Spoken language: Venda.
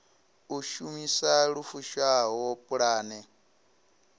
u shumisa lu fushaho pulane